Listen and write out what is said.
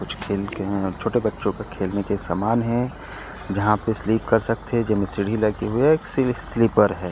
कुछ खेल के छोटे बच्चो के खेलने का समान है जहाँ पे सिलिप कर सकथे जेमे सीढ़ी लगे हे एक से एक सिलिपर है। --